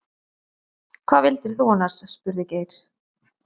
Hvað vildir þú annars? spurði Geir.